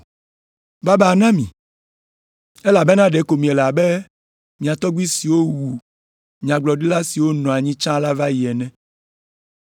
“Babaa na mi! Elabena ɖeko miele abe mia tɔgbui siwo wu nyagblɔɖila siwo nɔ anyi tsã va yi la ene.